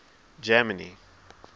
germany